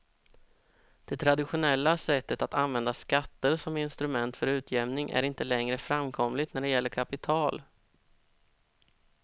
Det traditionella sättet att använda skatter som instrument för utjämning är inte längre framkomligt när det gäller kapital.